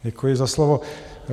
Děkuji za slovo.